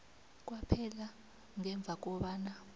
kwaphela ngemva kobana